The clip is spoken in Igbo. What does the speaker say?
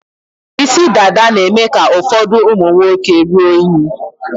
Isi dada na-eme ka ụfọdụ ụmụ nwoke rụọ unyi.